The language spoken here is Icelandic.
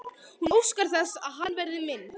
Hún óskar þess að hann verði minn.